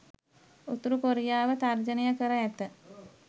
උතුරු කොරියාව තර්ජනය කර ඇත.